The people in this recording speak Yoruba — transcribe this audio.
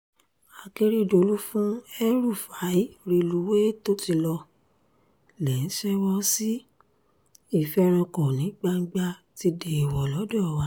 akèrèdọ̀lù fún el-rufai relùwéè tó ti lọ lè ń ṣèwò sí ìfẹ́rankọ ní gbangba ti déèwọ̀ lọ́dọ̀ wa